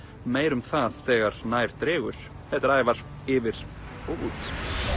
meira um það þegar nær dregur þetta er Ævar yfir og út